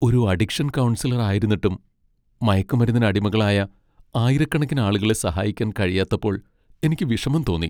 ഒരു addiction counsellor ആയിരുന്നിട്ടും, മയക്കുമരുന്നിന് അടിമകളായ ആയിരക്കണക്കിന് ആളുകളെ സഹായിക്കാൻ കഴിയാത്തപ്പോൾ എനിക്ക് വിഷമം തോന്നി.